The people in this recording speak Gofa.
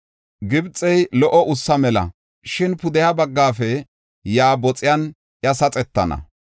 Gibxey lo77o ussa mela; shin pudeha bagga biittafe yaa boxiyan iya saxetana.